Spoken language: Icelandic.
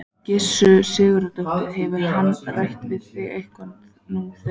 Gissur Sigurðsson: Hefur hann rætt við þig eitthvað nú þegar?